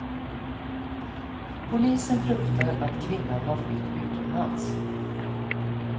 Polisen fruktar att kvinnan har flytt utomlands.